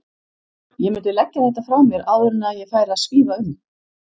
Ég mundi leggja þetta frá mér áður en að ég færi að svífa um!